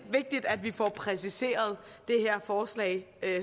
vigtigt at vi får præciseret det her forslag